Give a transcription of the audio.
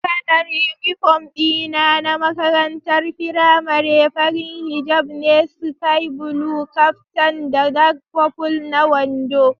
Kalar uniform dina na makarantar firamare fari hijab ne, sky blue caftan da dark purple na wando.